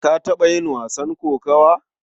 Ka taɓa yin wasan kokawa?